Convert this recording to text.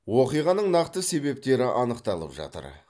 оқиғаның нақты себептері анықталып жатыр